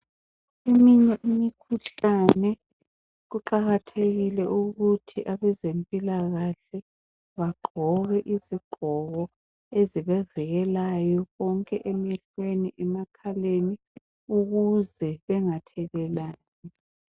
Eminye imikhuhlane kuqakathekile ukuthi abezempilakahle bagqoke izigqoko ezibavikelayo konke emehlweni, emakhaleni ukuze bengathelelani.